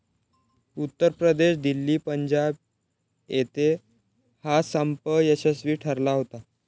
उत्तर प्रदेश, दिल्ली, पंजाब येते हा संप यशस्वी ठरला होता.